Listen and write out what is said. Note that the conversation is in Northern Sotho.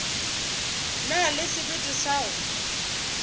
na le sebete sa go